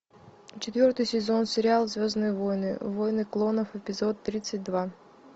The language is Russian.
четвертый сезон сериал звездные войны войны клонов эпизод тридцать два